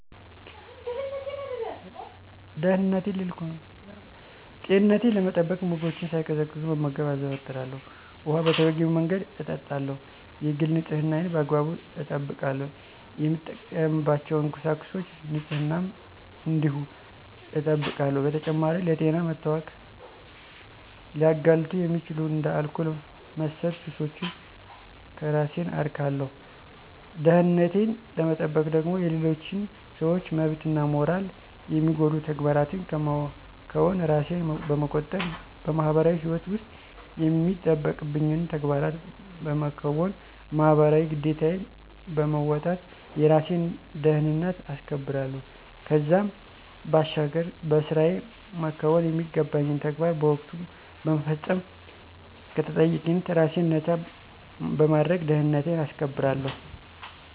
ጤንነቴን ለመጠበቅ ምግቦችን ሳይቀዘቅዙ መመገብ አዘወትራለሁ፣ ውኃ በተገቢው መንገድ እጠጣለሁ፣ የግል ንፅህናዬን በአግባቡ እጠብቃለሁ፣ የምጠቀምባቸውን ቁሳቁሶች ንፅህናም እንዲሁ እጠብቃለሁ። በተጨማሪም ለጤና መታወክ ሊያጋልጡ የሚችሉ እንደ አልኮል መሠል ሱሶችን ከራሴን አርቃለሁ። ደህንነቴን ለመጠበቅ ደግሞ የሌሎችን ሰዎች መብትና ሞራል የሚጎዱ ተግባራትን ከመከወን ራሴን በመቆጠብ በማህበራዊ ህይወት ውስጥ የሚጠበቅብኝን ተግባራት በመከወን ማህበራዊ ግዴታዬን በመወጣት የራሴን ደህንነት አስከብራለሁ። ከዛም ባሻገር በስራየ መከወን የሚገባኝን ተግባራት በወቅቱ በመፈፀም ከተጠያቂነት ራሴን ነፃ በማድረግ ደህንነቴን አስከብራለሁ።